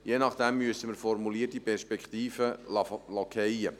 Je nachdem müssen wir formulierte Perspektiven fallen lassen.